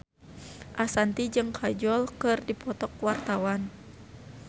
Ashanti jeung Kajol keur dipoto ku wartawan